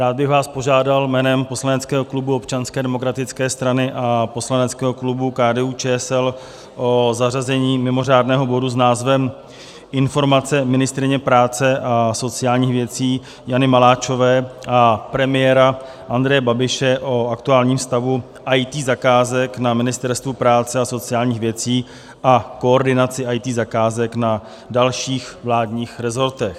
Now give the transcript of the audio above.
Rád bych vás požádal jménem poslaneckého klubu Občanské demokratické strany a poslaneckého klubu KDU-ČSL o zařazení mimořádného bodu s názvem Informace ministryně práce a sociálních věcí Jany Maláčové a premiéra Andreje Babiše o aktuálním stavu IT zakázek na Ministerstvu práce a sociálních věcí a koordinaci IT zakázek na dalších vládních resortech.